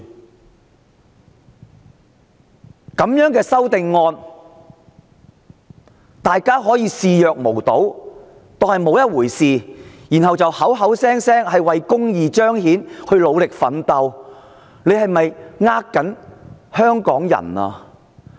面對這樣的修訂建議，大家仍可以視若無睹，不當作一回事，然後口口聲聲說是為彰顯公義而努力奮鬥嗎？